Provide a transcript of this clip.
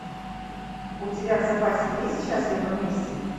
у тебя в запасе есть счастливы вместе